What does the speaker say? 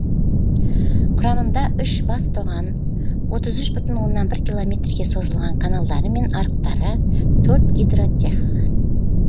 құрамында үш бас тоған отыз үш бүтін оннан бір километрге созылған каналдары мен арықтары төрт гидротех